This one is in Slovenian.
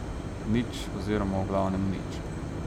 Nič oziroma v glavnem nič.